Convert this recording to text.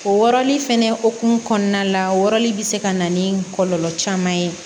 O wɔrɔli fɛnɛ hokumu kɔnɔna la wɔli be se ka na ni kɔlɔlɔ caman ye